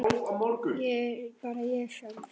Ég er bara ég sjálf.